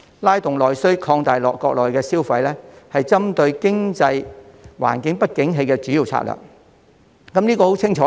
拉動內需，擴大國內消費是針對經濟環境不景氣的主要策略。